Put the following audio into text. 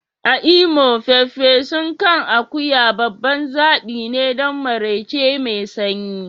A Imo, farfesun kan akuya babban zaɓi ne don maraice mai sanyi.